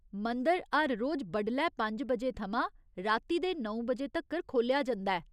मंदर हर रोज बडलै पंज बजे थमां राती दे नौ बजे तक्कर खोह्‌लेआ जंदा ऐ।